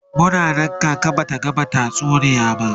Muna Nan kaka Bata gama bamu tatsuniya ba